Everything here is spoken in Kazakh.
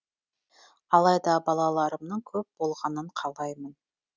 алайда балаларымның көп болғанын қалаймын